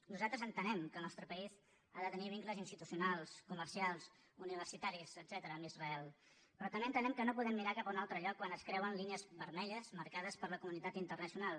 nosaltres entenem que el nostre país ha de tenir vincles institucionals comercials universitaris etcètera amb israel però també entenem que no podem mirar cap a un altre lloc quan es creuen línies vermelles marcades per la comunitat internacional